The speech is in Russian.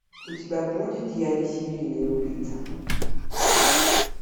у тебя будет я не серийный убийца